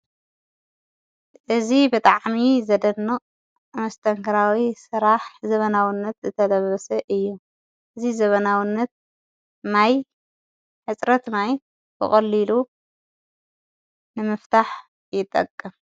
እዝ ብጥዕሚ ዘደኖ ኣመስተንከራዊ ሥራሕ ዘበናዉነት ዝተለበሰ እየ እዝ ዘበናውነት ማይ ሕጽረት ማይ ብቖሊሉ ንምፍታሕ ይጠቅም።